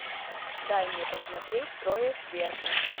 дай мне посмотреть трое сверху